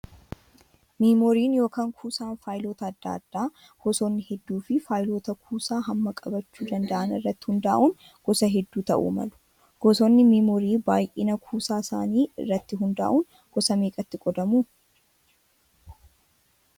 Meemooriin yookaan kuusaan faayiloota adda addaa gosoonni hedduu fi faayiloota kuusaa hamma qabachuu danda'an irratti hundaa'uun gosa hedduu ta'uu malu. Gosoota miimoorii baay'ina kuusaa isaanii irratti hundaa'uun gosa meeqatti qoodamu?